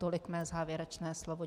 Tolik moje závěrečné slovo.